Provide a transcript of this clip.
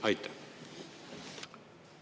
Aitäh!